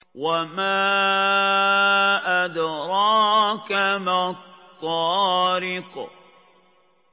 وَمَا أَدْرَاكَ مَا الطَّارِقُ